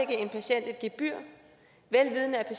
en patient et gebyr vel vidende at